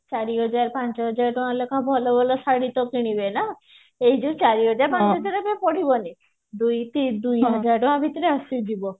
ଚାରି ହଜାର ପାଞ୍ଚ ହଜାର ଟଙ୍କା ଲେଖା ଭଲ ଭଲ ଶାଢୀଟେ କିଣିବି ନା ଏଇ ଯୋଉ ଚାରି ହଜାର ପାଞ୍ଚ ହଜାର ଟଙ୍କା ପଡିବନି ଦୁଇ ହଜାର ଟଙ୍କା ଭିତରେ ଆସିଯିବ